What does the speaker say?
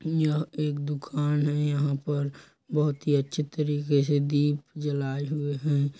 यह एक दुकान है यहाँ पर बहुत ही अच्छे तरीके से दीप जलाए हुए है।